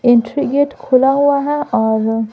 entry gate खुला हुआ है और--